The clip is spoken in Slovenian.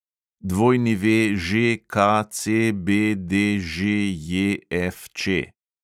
WŽKCBDŽJFČ